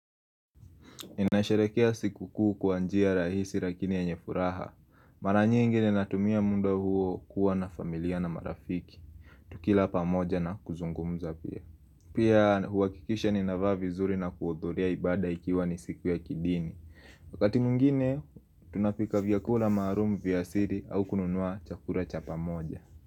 Inasharekea sikukuu kwa njia rahisi lakini yenye furaha. Mara nyingi ninatumia muda huo kuwa na familia na marafiki. Tukila pamoja na kuzungumza pia. Pia huakikisha nina vaa vizuri na kudhuria ibada ikiwa ni siku ya kidini. Wakati mwegine tunapika vyakula maalumu vya asili au kununua chakula cha pamoja.